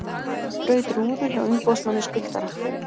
Braut rúðu hjá umboðsmanni skuldara